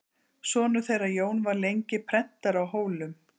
Sonur þeirra Jón var lengi prentari á Hólum.